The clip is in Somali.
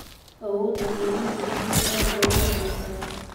Awoodda kaydinta biyuhu aad bay u hoosaysaa.